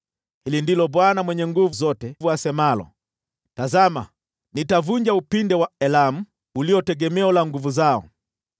Hili ndilo Bwana Mwenye Nguvu Zote asemalo: “Tazama, nitavunja upinde wa Elamu, ulio tegemeo la nguvu zao.